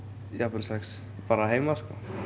jafnvel sex bara heima